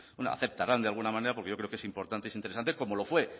aceptarán de alguna manera porque yo creo que es importante es interesante como lo fue